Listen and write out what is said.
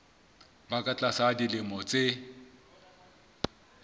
ba ka tlasa dilemo tse